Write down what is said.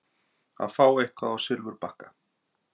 Að fá eitthvað á silfurbakka